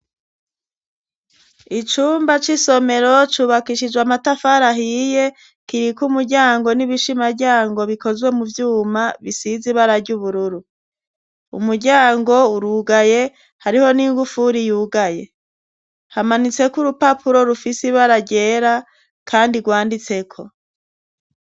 Icumba c'isomero cubakishijwe amatafari ahiye, kiriko umuryango n'ibishimaryango bikozwe mu vyuma, bisize ibara ry'ubururu, umuryango urugaye, hariho n'ingufuri yugaye, hamanitseko urupapuro rufise ibara ryera, kandi rwanditseko.